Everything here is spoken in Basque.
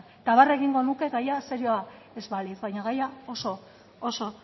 eta barre egingo nuke gaia serioa ez balitz baina gaia oso